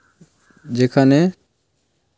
পাশে বোর্ড এ লেখা আছে চান্দ্র কোনা রোড ।